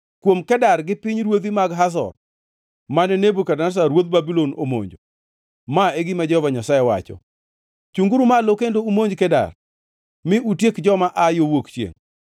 Kuom Kedar gi pinyruodhi mag Hazor, mane Nebukadneza ruodh Babulon omonjo: Ma e gima Jehova Nyasaye wacho: “Chungʼuru malo, kendo umonj Keda, mi utiek joma aa yo wuok chiengʼ.